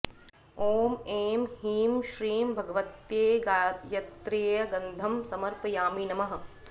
ॐ ऐं ह्रीं श्रीं भगवत्यै गायत्र्यै गन्धं समर्पयामि नमः